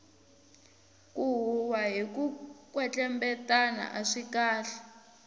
ku huhwa hiku kwetlembetana aswi kahle